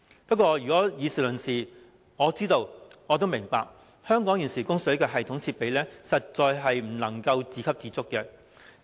不過，如果以事論事，我知道並明白，香港現時的供水系統設備實在不能夠自給自足。